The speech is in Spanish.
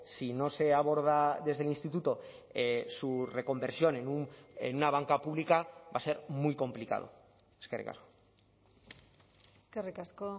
si no se aborda desde el instituto su reconversión en una banca pública va a ser muy complicado eskerrik asko eskerrik asko